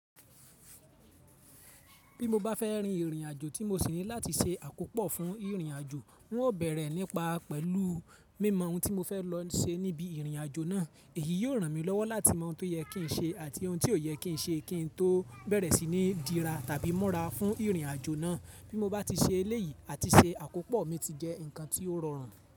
Bí mo bá fẹ́ rin ìrìnàjò tí mo sì ní láti ṣe àkópọ̀ fún ìrìnàjò, n ó bẹ̀rẹ̀ nípa pẹ̀lú mímọ ohun tí mo fẹ́ lọ ṣe níbi ìrìnàjò náà. Èyí yóò ràn mí lọ́wọ́ láti mọ ohun tó yẹ kí n ṣe àti ohun tí ó yẹ kí n ṣe kí n tó bẹ̀rẹ̀ sí ní dira tàbí múra fún ìrìnàjò náà. Bí mo bá ti ṣe eléyìí àti ṣe àkópọ̀ mi ti jẹ́ ǹkan tí ó rọrùn.